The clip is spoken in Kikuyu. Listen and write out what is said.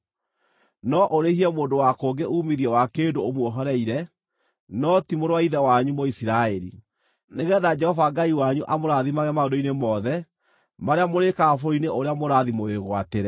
No ũrĩhie mũndũ wa kũngĩ uumithio wa kĩndũ ũmuohoreire, no ti mũrũ wa ithe wanyu Mũisiraeli, nĩgeetha Jehova Ngai wanyu amũrathimage maũndũ-inĩ mothe marĩa mũrĩĩkaga bũrũri-inĩ ũrĩa mũrathiĩ mũwĩgwatĩre.